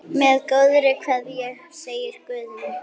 Með góðri kveðju, segir Guðni.